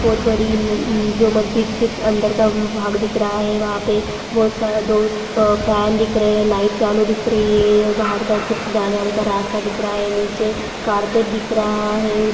बहुत बड़ी जो मस्जिद के अंदर का भाग दिख रहा है वहां पे बहुत सारा दो फैन दिख रहे हैं लाइट चालू दिख रही है और बाहर का कुछ जाने आने रास्ता दिख रहा है नीचे कारपेट दिख रहा है उस ---